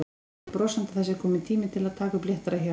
Segir brosandi að það sé kominn tími til að taka upp léttara hjal.